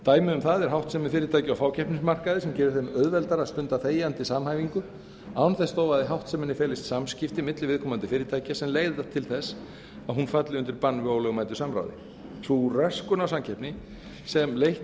dæmi um það er háttsemi fyrirtækja á fákeppnismarkaði sem gerir þeim auðveldara að stunda þegjandi samhæfingu án þess þó að í háttseminni felist samskipti milli viðkomandi fyrirtækja sem leiða til þess að hún falli undir bann við ólögmætu samráði sú röskun á samkeppni sem leitt